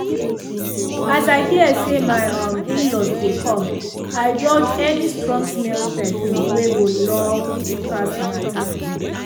as i hear say my um in-laws dey come i dodge any strong-smell perfume wey go loud pass matter.